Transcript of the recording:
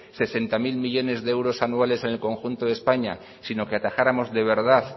sesenta mil millónes de euros anuales en el conjunto de españa sino que atajáramos de verdad